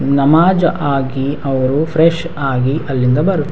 ನಮಾಜ್ ಆಗಿ ಅವರು ಫ್ರೆಶ್ ಆಗಿ ಅಲ್ಲಿಂದ ಬರುತ್ --